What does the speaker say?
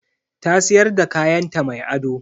Ta siyar da kayanta mai ado.